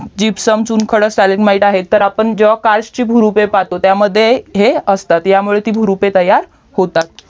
gypsum चुन खडक stalagmite MITE आहे त तर आपण जेव्हा काश ची भुरुपे आपण पाहतो तर ह्या मध्ये ते असतात वरती भुरुपे तयार होतात